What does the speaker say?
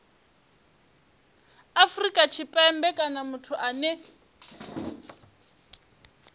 afrika tshipembe kana muthu ane